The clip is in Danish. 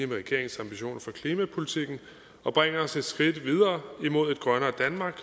regeringens ambitioner for klimapolitikken og bringer os et skridt videre imod et grønnere danmark